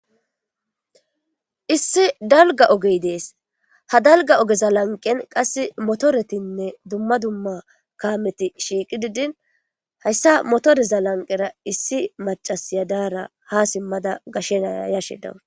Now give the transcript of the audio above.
Issi daligga ogeyi desi, ha daligga ogeta laniqeni motoretine duma duma kameti siqidi dini hayisa motoreza matara issi macazi ha simada yashe dawusu.